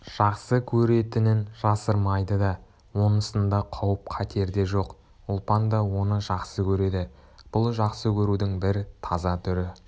жақсы көретінін жасырмайды да онысында қауіп-қатер де жоқ ұлпан да оны жақсы көреді бұл жақсы көрудің бір таза түрі